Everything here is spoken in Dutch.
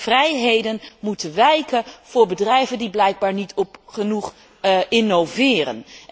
vrijheden moeten wijken voor bedrijven die blijkbaar niet genoeg innoveren.